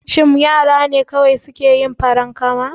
Shin yara ne kawai suke yin farankama?